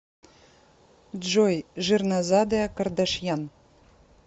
джой жирнозадая кардашьян